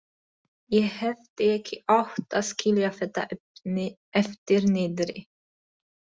Ég hefði ekki átt að skilja þetta eftir niðri.